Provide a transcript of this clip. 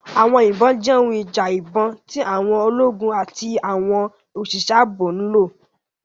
Àwọn ìbọn jẹ́ ohun ìjà ìbọn tí àwọn ológun àti àwọn òṣìṣẹ́ ààbò ń lò.